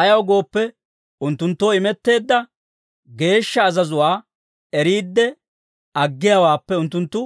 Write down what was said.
Ayaw gooppe, unttunttoo imetteedda geeshsha azazuwaa eriidde aggiyaawaappe unttunttu